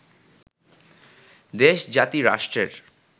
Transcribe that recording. দেশ, জাতি, রাষ্ট্রের